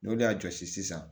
N'o de y'a jɔsi sisan